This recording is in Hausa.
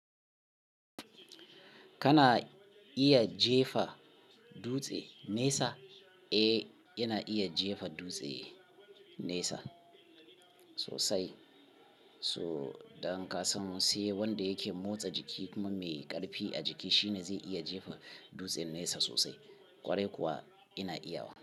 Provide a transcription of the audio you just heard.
Kana iya jefa dutse nesa? Eh, yana iya jefa dutse nesa sosai. So, don ka san sai wanda yake motsa jiki kuma mai ƙarfi a jiki shine zai iya jefa dutsen nesa sosai. Kwarai kuwa yana iya wa.